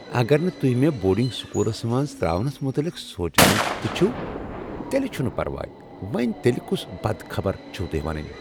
اگر نہٕ تہۍ مےٚ بورڈنگ سکولس منٛز ترٛاونس متعلق سونٛچان تہ چھوٕ، تیٚلہ چھنہٕ پرواے وۄنۍ تیٚلہ کۄس بد خبر چھوٕ ونٕنۍ۔